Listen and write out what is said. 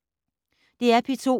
DR P2